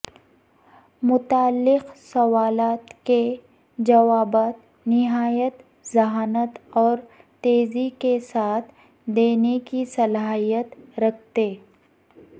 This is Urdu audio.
متعلق سوالات کے جوابات نہایت ذھانت اور تیزی کے ساتھ دینے کی صلاحیت رکھتے